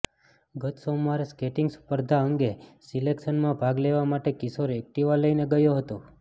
ગત સોમવારે સ્કેટીંગ સ્પર્ધા અંગે સિલેક્શનમાં ભાગ લેવા માટે કિશોર એક્ટીવા લઇને ગયો હતો